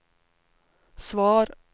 svar